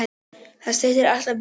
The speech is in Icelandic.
Það styttir alltaf biðina.